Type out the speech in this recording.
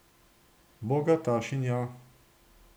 Bogatašinja.